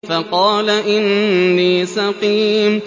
فَقَالَ إِنِّي سَقِيمٌ